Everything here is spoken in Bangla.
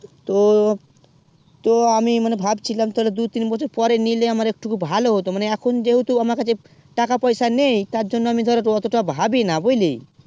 তো তো আমি মনে ভাবছিলাম তোর দুই তিন বছর পরে নিলে আমার একটুকো ভালো হতো মানে এখন যেও টু আমা কাছে টাকা পয়সা নেই তার জন্য আমি ওত্তো তা ভাবি না বুঝলি